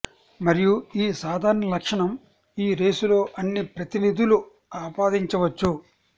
మరియు ఈ సాధారణ లక్షణం ఈ రేసులో అన్ని ప్రతినిధులు ఆపాదించవచ్చు